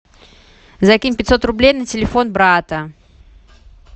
закинь пятьсот рублей на телефон брата